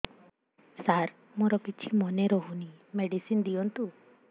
ସାର ମୋର କିଛି ମନେ ରହୁନି ମେଡିସିନ ଦିଅନ୍ତୁ